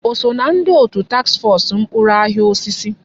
O so ná ndị òtù taks fọs ahịa mkpụrụ osisi?